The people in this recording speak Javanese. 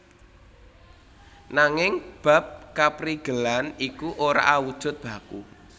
Nanging bab kaprigelan iku ora awujud baku